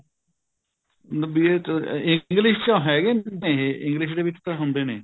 BA ਚ English ਚ ਹੈਗੇ ਨੇ ਇਹ English ਦੇ ਵਿੱਚ ਤਾਂ ਹੁੰਦੇ ਨੇ